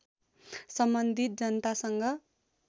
सम्बन्धित जनतासँग